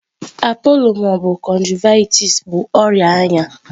Appollo ma ọ bụ conjunctivitis bụ ọrịa anya.